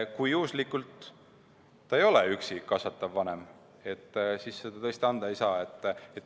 " Kui juhuslikult ta ei ole last üksi kasvatav vanem, siis seda tõesti anda ei saa.